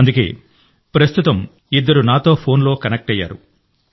అందుకే ప్రస్తుతం ఇద్దరు యువకులు నాతో ఫోన్లో కనెక్ట్ అయ్యారు